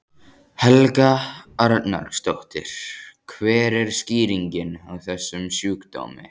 Helga Arnardóttir: Hver er skýringin á þessum sjúkdómi?